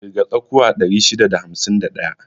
Ƙirga tsakuwa 651.